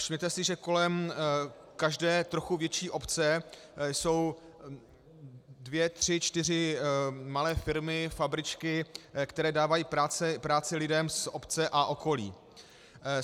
Všimněte si, že kolem každé trochu větší obce jsou dvě, tři, čtyři malé firmy, fabričky, které dávají práci lidem z obce a okolí.